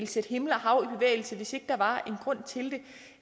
sætte himmel og hav i bevægelse hvis ikke der